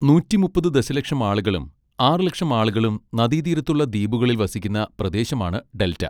നൂറ്റി മുപ്പത് ദശലക്ഷം ആളുകളും ആറ് ലക്ഷം ആളുകളും നദീതീരത്തുള്ള ദ്വീപുകളിൽ വസിക്കുന്ന പ്രദേശമാണ് ഡെൽറ്റ.